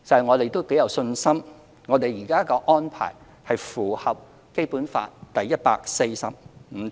我們頗有信心，現時的安排符合《基本法》第一百四十五條。